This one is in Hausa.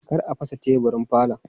Kar a fasa teburin falon!